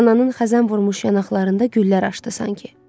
Ananın xəzən vurmuş yanaqlarında güllər açdı sanki.